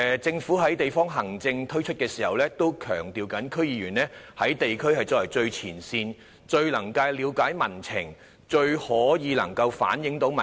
政府在推出地方行政時，亦強調區議員在地區的最前線，最能了解民情和反映民意。